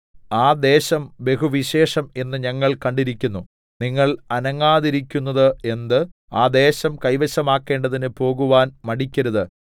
ആ ദേശം ബഹുവിശേഷം എന്ന് ഞങ്ങൾ കണ്ടിരിക്കുന്നു നിങ്ങൾ അനങ്ങാതിരിക്കുന്നത് എന്ത് ആ ദേശം കൈവശമാക്കേണ്ടതിന് പോകുവാൻ മടിക്കരുത്